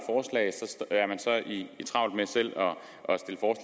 travlt med selv